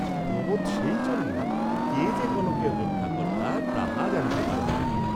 প্রমোদ সেই জন্য কে যে কনকের রক্ষাকর্ত্তা তাহা জানিতে পারেন নাই।